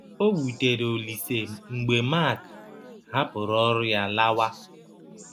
O wụtere Ọlise mgbe Mak hapụrụ ọrụ ya lawa.